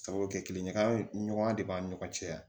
Sabu kɛ kile ɲɔgɔn ya ye ɲɔgɔn de b'a ni ɲɔgɔn cɛ